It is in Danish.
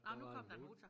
Ej men nu kom der en motor